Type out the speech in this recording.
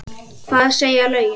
Hvað segja lögin?